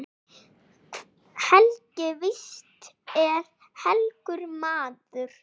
Helgi víst er helgur maður.